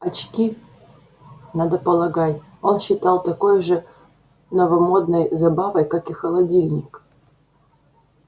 очки надо полагать он считал такой же новомодной забавой как и холодильник